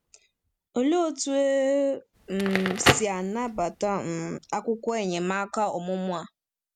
Olee otú e um si anabata um akwụkwọ enyemaka ọmụmụ a?